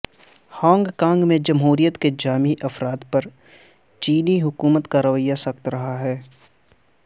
Hong Kong میں جمہوریت کے حامی افراد پر چینی حکومت کا رویہ سخت رہا ہے